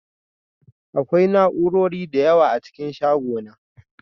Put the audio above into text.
Akwai na'urori da yawa a cikin shagona